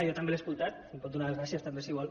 jo també l’he escoltat em pot donar les gràcies també si vol